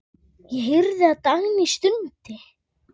Ég heyrði að Dagný stundi.